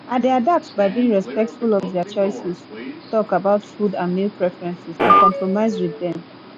i dey adapt by being respectful of dia choices talk about food and meal preferences and compromise with dem